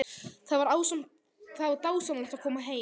Það var dásamlegt að koma heim.